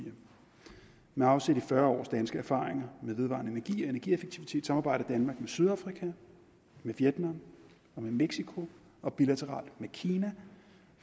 med afsæt i fyrre års danske erfaringer med vedvarende energi og energieffektivitet samarbejder danmark med sydafrika vietnam og mexico og bilateralt med kina